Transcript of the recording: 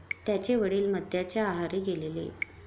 त्यांचे वडील मद्याच्या आहारी गेलेले.